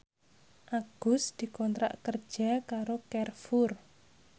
Agus dikontrak kerja karo Carrefour